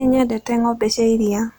Nĩ nyendete ng'ombe na iria.